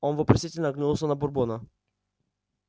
он вопросительно оглянулся на бурбона